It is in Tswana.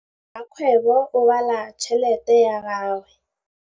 Rakgwêbô o bala tšheletê ya gagwe.